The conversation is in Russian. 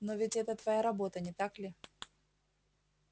но ведь это твоя работа не так ли